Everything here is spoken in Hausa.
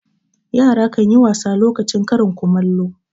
Yara kan yi wasa lokacin karin kumallo.